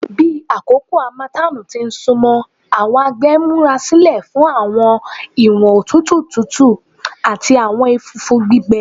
Bi akoko harmattan ti sunmọ, awọn agbegbe n murasilẹ fun awọn iwọn otutu tutu ati awọn ẹfũfu gbigbẹ